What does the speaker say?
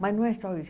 Mas não é só isso.